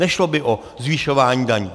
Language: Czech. Nešlo by o zvyšování daní.